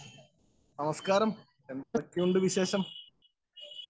Speaker 1 നമസ്കാരം, എന്തൊക്കെയുണ്ട് വിശേഷം?